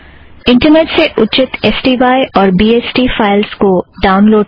internet से उच्चित files को ड़ाउन लोड़ करें